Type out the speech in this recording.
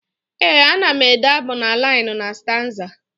Ee ana ede abụ na liinu na staanza.